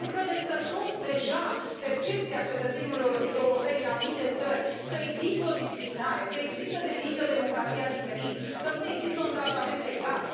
Nu credeți că este deja percepția cetățenilor europeni în anumite țări că există o discriminare, că există definită democrația diferit, că nu există un tratament egal?